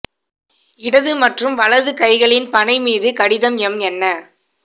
இடது மற்றும் வலது கைகளின் பனை மீது கடிதம் எம் என்ன